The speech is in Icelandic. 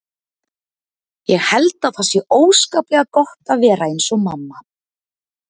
Ég held að það sé óskaplega gott að vera eins og mamma.